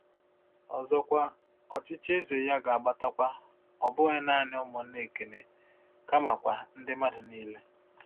Ọzọkwa, ọchịchị eze ya ga-agbatakwa, ọ bụghị naanị ụmụnna Ekene, kamakwa “ndị mmadụ niile.”